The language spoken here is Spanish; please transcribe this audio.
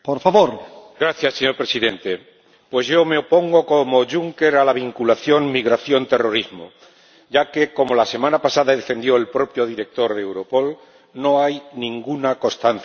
Señor Presidente, yo me opongo, como el señor Juncker, a la vinculación migración terrorismo, ya que, como la semana pasada defendió el propio Director de Europol, no hay ninguna constancia de ese vínculo.